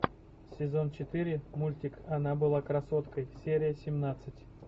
сезон четыре мультик она была красоткой серия семнадцать